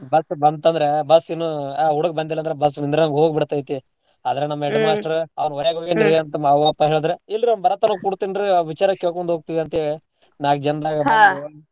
Bus ಬಂತಂದ್ರ bus ಇನ್ನೂ ಆ ಹುಡ್ಗ್ ಬಂದಿಲ್ಲಂದ್ರ bus ನಿಂದ್ರಗ್ ಹೋಗ್ ಬಿಡ್ತೈತೆ ಆದ್ರ ನಮ್ಮ್ headmaster ಅವ್ರ ಹೊರಗ್ ಹೋಗ್ಯಾನ್ರೀ ಅಂತ ಅವ್ವ ಅಪ್ಪ ಹೇಳಿದ್ರೆ ಇಲ್ರೀ ಅವ್ನು ಬರತ್ತಾನೆ ಕೊಡ್ತೀನ್ ರೀ ವಿಚಾರ ಕೇಳ್ಕೊಂಡ್ ಹೋಗ್ತೇವ ಅಂತೇಳಿ ನಾಲ್ಕ್ ಜನದಾಗ್ .